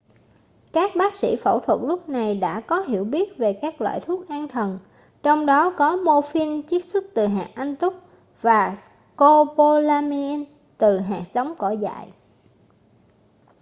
các bác sỹ phẫu thuật lúc này đã có hiểu biết về các loại thuốc an thần trong đó có morphin chiết xuất từ hạt anh túc và scopolamine từ hạt giống cỏ dại